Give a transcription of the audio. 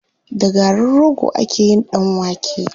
Da garin rogo ake yin ɗan wake.